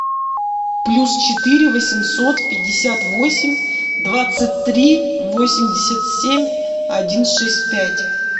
плюс четыре восемьсот пятьдесят восемь двадцать три восемьдесят семь один шесть пять